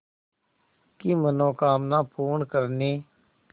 की मनोकामना पूर्ण करने